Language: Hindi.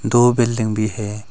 दो बिल्डिंग भी है।